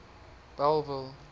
bellville